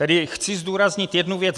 Tedy chci zdůraznit jednu věc.